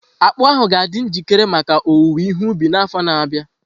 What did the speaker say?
Akpu ahu ga-adị njikere maka owuwe ihe ubi n'afọ na-abịa.